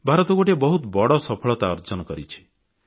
ଭାରତ ଗୋଟିଏ ବହୁତ ବଡ଼ ସଫଳତା ଅର୍ଜନ କରିଛି